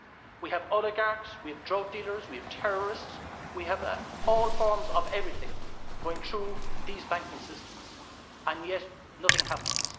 We have oligarchs, we have drug dealers, we have terrorists, we have all forms of everything going through these banking systems, and yet nothing happens.